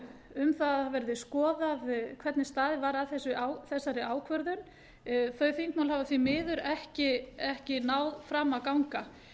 um að það verði skoðað hvernig staðið var að þessari ákvörðun þau þingmál hafa því miður ekki náð fram að ganga menn